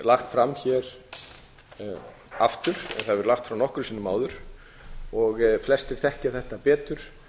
lagt fram hér aftur það hefur verið lagt fram nokkrum sinnum áður og flestir þekkja þetta betur